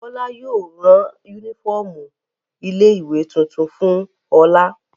Bọ́lá yóò rán únífọ́ọ́mù ilé-ìwé tuntun fún Ọlá.